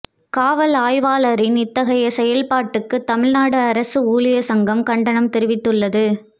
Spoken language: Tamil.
காவல்ஆய்வாளரின் இத்தகையை செயல்பாட்டுக்கு தமிழ்நாடு அரசு ஊழியா் சங்கம் கண்டனம் தெரிவித்துள்ளது